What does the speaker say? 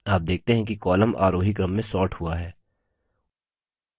आप देखते हैं कि column आरोही क्रम में sorted हुआ है